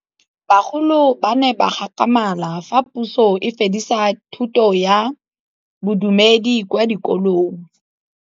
Bagolo ba ne ba gakgamala fa Pusô e fedisa thutô ya Bodumedi kwa dikolong.